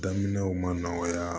Daminɛw ma nɔgɔya